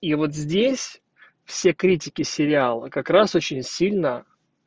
и вот здесь все критики сериала как раз очень сильно